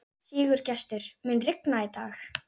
Sigurgestur, mun rigna í dag?